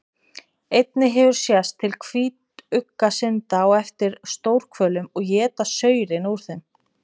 Einnig hefur sést til hvítugga synda á eftir stórhvölum og éta saurinn úr þeim.